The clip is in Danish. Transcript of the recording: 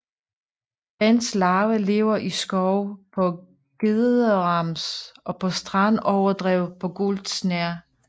Dens larve lever i skove på gederams og på strandoverdrev på gul snerre